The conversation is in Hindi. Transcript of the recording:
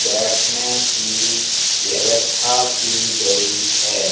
बैठने की व्यवस्था की गई है।